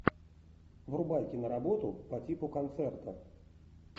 врубай киноработу по типу концерта